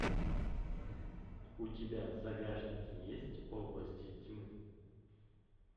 у тебя в загашнике есть области тьмы